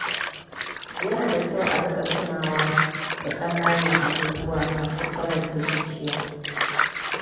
Yana da kyau a riƙa tunawa da ƙananan abubuwa masu faranta zuciya.